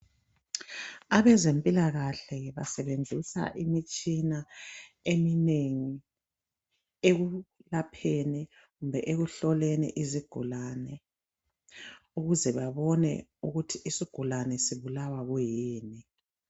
abezempilakahle basebenzisa imitshina eminengi ekulapheni kumbe ekuhloleni izigulane ikuze babine ukuthi isigulane sibulawa kuyini